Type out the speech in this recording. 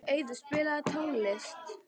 Auður, spilaðu tónlist.